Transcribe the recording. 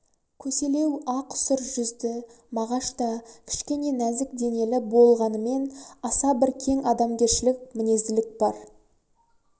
көселеу ақ сұр жүзді мағашта кішкене нәзік денелі бол-ғанымен аса бір кең адамгершілік мінезділік бар